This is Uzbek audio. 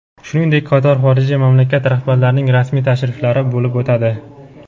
shuningdek qator xorijiy mamlakat rahbarlarining rasmiy tashriflari bo‘lib o‘tadi.